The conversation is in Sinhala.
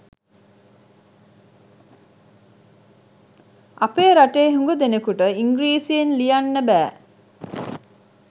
අපේ රටේ හුඟ දෙනෙකුට ඉංග්‍රීසියෙන් ලියන්න බෑ.